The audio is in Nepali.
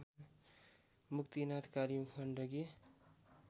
मुक्तिनाथ काली गण्डकी